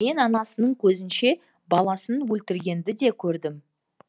мен анасының көзінше баласын өлтіргенді де көрдім